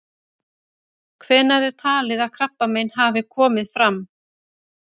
Hvenær er talið að krabbamein hafi komið fram?